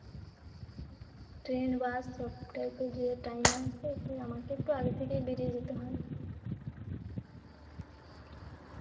train bus ধরতে তো যেই টাইম এ আসে তো আমাকে একটু আগেই বেরিয়ে যেতে হয়